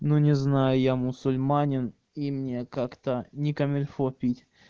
ну не знаю я мусульманин и мне как-то не комильфо пить